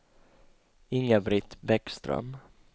Inga-Britt Bäckström